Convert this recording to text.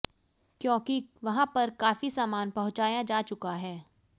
क्योंकि वहां पर काफी सामान पहुंचाया जा चुका है